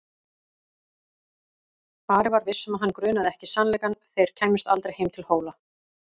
Ari var viss um að hann grunaði ekki sannleikann: þeir kæmust aldrei heim til Hóla.